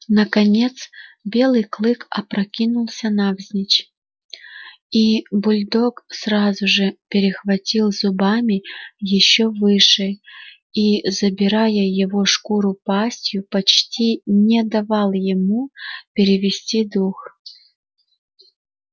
наконец белый клык опрокинулся навзничь и бульдог сразу же перехватил зубами ещё выше и забирая его шкуру пастью почти не давал ему перевести дух